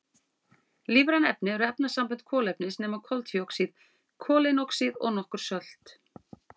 Lífræn efni eru efnasambönd kolefnis nema koltvíoxíð, koleinoxíð og nokkur sölt.